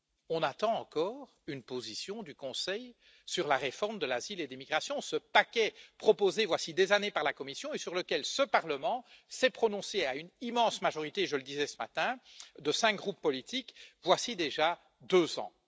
On attend encore une position du Conseil sur la réforme de l'asile et des migrations, ce paquet proposé, voici des années, par la Commission, et sur lequel ce Parlement s'est prononcé à une immense majorité je le disais ce matin de cinq groupes politiques, voici déjà deux ans.